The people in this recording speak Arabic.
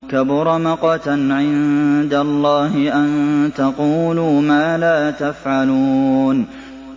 كَبُرَ مَقْتًا عِندَ اللَّهِ أَن تَقُولُوا مَا لَا تَفْعَلُونَ